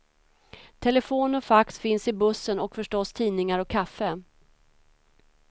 Telefon och fax finns i bussen och förstås tidningar och kaffe.